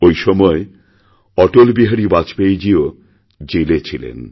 ঐ সময় অটল বিহারী বাজপেয়ীজীও জেলেছিলেন